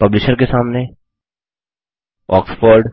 publisher के सामने Oxford